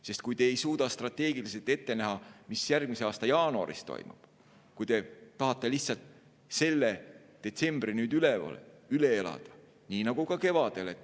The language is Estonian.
Sest te ei suuda strateegiliselt ette näha, mis järgmise aasta jaanuaris toimub, kui te tahate lihtsalt selle detsembri nüüd üle elada nii nagu ka kevadel.